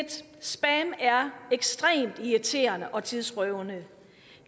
ekstremt irriterende og tidsrøvende